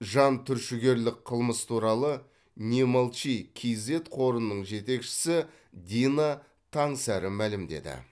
жантүршігерлік қылмыс туралы немолчи кейзэт қорының жетекшісі дина таңсәрі мәлімдеді